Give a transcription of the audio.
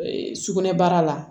Sugunɛbara la